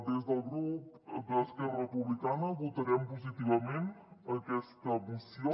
des del grup d’esquerra republicana votarem positivament aquesta moció